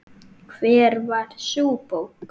Hver var sú bók?